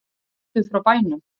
Hún er ættuð frá bænum